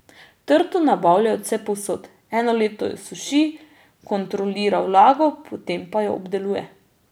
Trto nabavlja od vsepovsod, eno leto jo suši, kontrolira vlago, potem pa jo obdeluje.